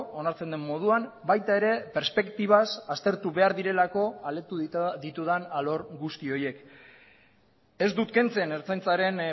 onartzen den moduan baita ere perspektibaz aztertu behar direlako aletu ditudan alor guzti horiek ez dut kentzen ertzaintzaren